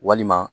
Walima